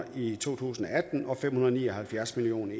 i to tusind og atten og fem hundrede og ni og halvfjerds million